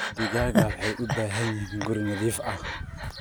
Digaagga waxay u baahan yihiin guri nadiif ah.